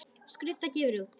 Skrudda gefur út.